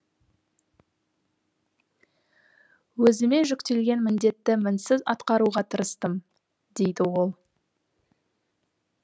өзіме жүктелген міндетті мінсіз атқаруға тырыстым дейді ол